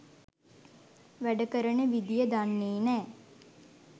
වැඩ කරන විදිය දන්නේ නෑ.